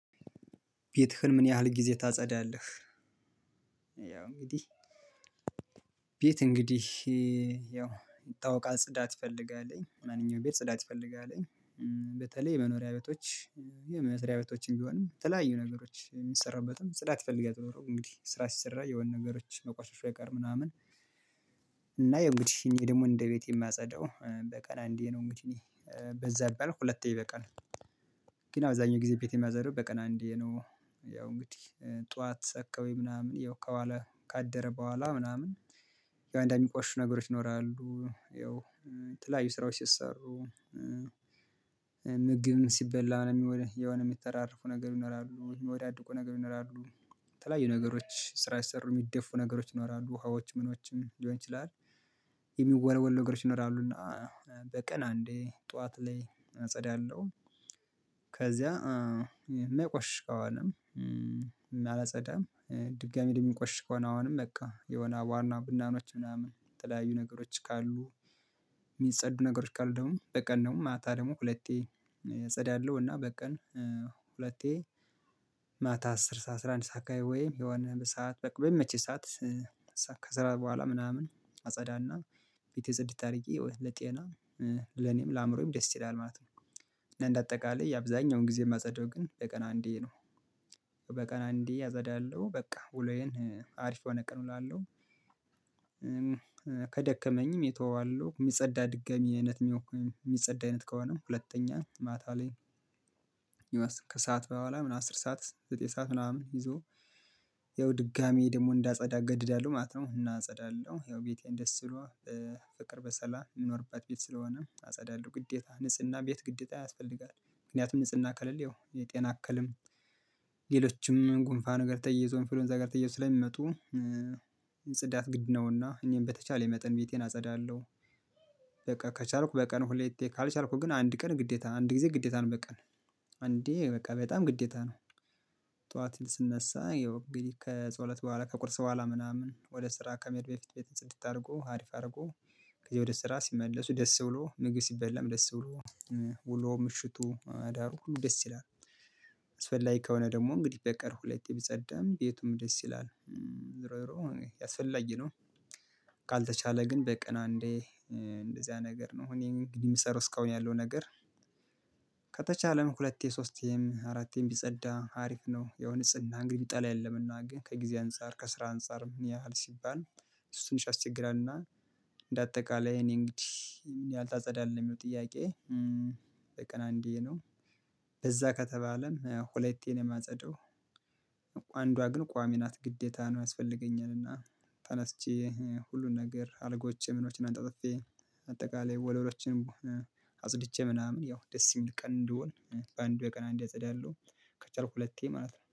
ቤትህን ምን ያህል ጊዜ ታጸዳለህ? ያው እንግዲህ ቤት እንግዲህ ያው ይታውቃለን ጽዳት ይፈልጋልን ማንኛውም ቤት ጽዳት ትፈልጋለን። በተለይ የመኖሪያ ቤቶች የመስሪያ ቤቶችን ቢሆንም የተለያዩ ነገሮች የሚሰራበትም ጽዳት ይፈልጋል። ዞሮ እንግዲህ ስራ ሲሰራ የሆነ ነገሮች መቆሸሹ አይቀርም ምናምን እና የው እንግዲህ እኔ ደግሞ እንደ ቤቴ የማጸዳው በቀን አንዴ ነው እንግዲህ በዛ ቢባል ሁለቴ ይበቃል። ግን አብዛኛው ጊዜ ቤት የሚጸዳው በቀን አንዴ ነው ያው እንግዲህ ጠዋት አካባቢ ምናምን ያው ከዋለ ካደረ በኋላ ምናምን ያው አንዳንድ የሚቆሽሹ ነገሮች ይኖራሉ። ስራዎች ሲሰሩ ምግብም ሲበላ ምንም ሆነ የሆነየሚተራረፉ ነገር ይኖራሉ የሚወዳድቁ ነገር ይኖራሉ የተለያዩ ነገሮች ስራ ሲሰሩ የሚደፉ ነገሮች ይኖራሉ ውሃዎች ምኖችም ሊሆን ይችላል። የሚወለወል ነገሮች ይኖራሉ እና በቀን አንዴ ጠዋት ላይ አጸዳለሁ ከዚያ የማይቆሽሽ ከሆነ ምንም አላጸዳም። ድጋሚ ደግሞ ለሚቆሽሽ ከሆነ አሁንም በቃ የሆነ ዋና ጉንዳኖች ምናምን የተለያዩ ነገሮች ካሉ የሚጸዱ ነገሮች ካሉ ደግሞ በቀን ደግሞ ማታ ደግሞ ሁለቴ አጸዳለሁ። እና በቀን ሁለቴ ማታ አስር ሰዓት አስራ አንድ ሰዓት አካባቢ ወይም የሆነ በሰአት በቃ በሚመቼኝ ሰዓት ከሰራ በኋላ ምናምን አጸዳና ቤቴ ጽድት አድርጌ ለጤና ለኔም ለአእምሮዬም ደስ ይላል ማለት ነው። እና እንደ አጠቃላይ አብዛኛውን ጊዜ የማጸደው ግን በቀን አንዴ ነው በቀን አንዴ አጸዳለሁ በቃ ውሎዬን አሪፍ የሆነ ቀን እውላለሁ። ከደከመኝም የተወዋለሁ የሚጸዳ ድጋሚ አይነት የሚያውቁኝ የሚጸዳ አይነት ከሆነም ሁለተኛ ማታ ላይ ከሰአት በኋላ ምን አስር ሰዓት ዘጠኝ ሰዓት ምናምን ይዞ ያው ድጋሚ ደግሞ እንዳጸዳ ገደዳለሁ ማት ነው እና አጸዳለሁ ያው ቤቴን ደስ ብሎ ፍቅር በሰላም እምንኖርባት ቤት ስለሆነ አጸዳለሁ። ግዴታ ንጽህና ቤት ግዴታ ያስፈልጋል ምክንያቱም ንጽህና ከሌለ ያው የጤና እክልም ሌሎችም ጉንፋ ነገር ተያይዞ እንፍሎንዛ ጋር ተያይዞ ስለሚመጡ ጽዳት ግድ ነውና እኔም በተቻለኝ መጠን ቤቴን አጸዳለሁ። በቃ ከቻልኩ በቀን ሁለቴ ካልቻልኩ ግን አንድ ቀን ግዴታ አንድ ጊዜ ግዴታ ነው በቀን አንዴ በቃ በጣም ግዴታ ነው። ጠዋት ስነሳ ያው እንግዲህ ከጸሎት በኋላ ከቁርስ በኋላ ምናምን ወደ ስራ ከመሄድ በፊት ቤት ጽድት አድርጎ አሪፍ አድርጎ ከዚያ ወደ ስራ ሲመለሱ ደስ ብሎ ምግብ ሲበላም ደስ ብሎ ውሎ ምሽቱ አዳሩ ደስ ይላል። አስፈላጊ ከሆነ ደግሞ እንግዲህ በቀን ሁለቴ ቢጸዳም ቤቱም ደስ ይላል ዝሮ ዝሮ አስፈላጊ ነው። ካልተቻለ ግን በቀን አንዴ እንደዚያ ነገር ነው እኔ እንግዲህ የምሰራው እስካሁን ያለው ነገር ከተቻለም ሁለቴ ሶስቴም አራቴም ቢጸዳ አሪፍ ነው። ያው ንጽህና እንግዲህ የሚጠላም የለምና ግን ከጊዜ አንፃር ከስራ አንፃር ምን ያህል ሲባል እሱ ትንሽ ያስቸግራል። እና እንደ አጠቃላይ እኔ እንግዲህ ምን ያህል ታጸዳለህ የሚለው ጥያቄ? በቀን አንዴ ነው በዛ ከተባለም ሁለቴ ነው የማጸደው። አንዷ ግን ቋሚ ናት ግዴታ ነው ያስፈልገኛልና ተነስቼ ሁሉን ነገር አልጋዎቼ ምኖችን አነጣጥፌ አጠቃላይ ወለሎችንም አጽድቼ ምናምን ያው ደስ የሚል ቀን እንዲሆን በአንዱ በቀን አንዴ አጸዳለሁ ከቻልኩ ሁለቴ ማለት